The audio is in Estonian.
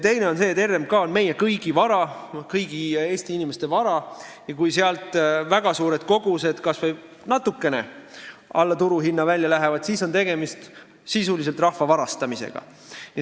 Teine on see, et RMK on meie kõigi vara, kõigi Eesti inimeste vara, ja kui sealt väga suured kogused kas või natukene alla turuhinna välja lähevad, siis on sisuliselt tegemist rahvalt varastamisega.